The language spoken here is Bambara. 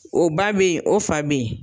O ba be yen o fa be yen.